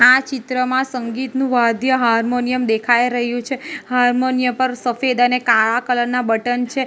આ ચિત્રમાં સંગીતનું વાદ્ય હાર્મોનિયમ દેખાય રહ્યું છે હાર્મોનિય પર સફેદ અને કાળા કલર ના બટન છે.